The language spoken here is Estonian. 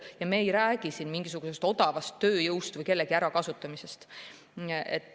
Ja me ei räägi siin mingisugusest odavast tööjõust või kellegi ärakasutamisest.